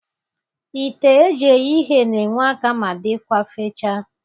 Ite eji eghe ihe n'enwe aka ma dịkwa fechaa.